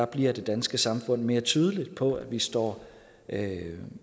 bliver det danske samfund mere tydeligt på at vi står